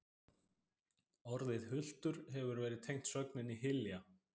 Orðið hultur hefur verið tengt sögninni hylja.